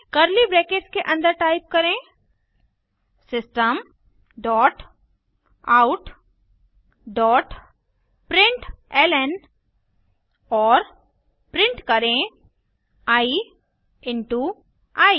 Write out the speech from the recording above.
curly brackets के अन्दर type करें system dot out dot println और प्रिंट करें आई इंटो आई